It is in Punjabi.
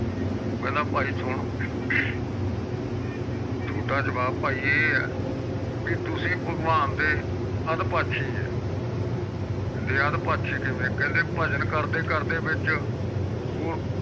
ਕਹਿੰਦਾ ਪਾਈ ਸੁਣ ਤੁਹਾਡਾ ਜਵਾਬ ਪਾਈ ਇਹ ਹੈ ਬੀ ਤੁਸੀਂ ਭਗਵਾਨ ਦੇ ਅੱਧ ਪਾਸੇ ਹੈ ਕਹਿੰਦੇ ਅੱਧ ਪਾਸ਼ੇ ਕਿਵੇਂ ਕਹਿੰਦੇ ਭਜਨ ਕਰਦੇ ਕਰਦੇ ਵਿਚ ਪੁਰਬ